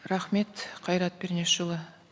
рахмет қайрат пернешұлы